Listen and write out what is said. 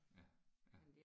Ja ja